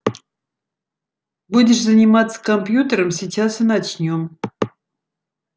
будешь заниматься компьютером сейчас и начнём